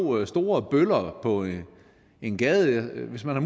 store bøller på en gade og hvis man har